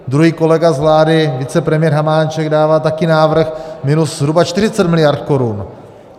Druhý kolega z vlády, vicepremiér Hamáček, dává také návrh minus zhruba 40 miliard korun.